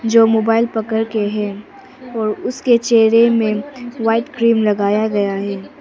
जो मोबाइल पकड़ के है और उसके चेहरे में व्हाइट क्रीम लगाया गया है।